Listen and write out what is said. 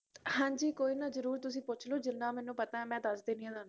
ਹਾਂਜੀ ਕੋਈ ਨਾ ਜਰੂਰ ਤੁਸੀ ਪੁਛਲੋ ਜਿੰਨਾ ਮੈਨੂੰ ਪਤਾ ਮੈ ਦਸ ਦੇਣੀ ਆ ਤੁਹਾਨੂੰ